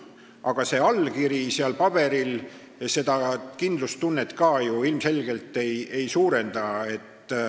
Aga see allkiri seal paberil seda kindlustunnet ka ju ilmselgelt ei suurenda.